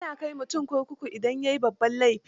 Ana kai mutu kurkuku in yai babban laifi.